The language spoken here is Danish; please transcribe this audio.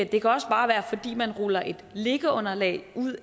det kan også bare være fordi man ruller et liggeunderlag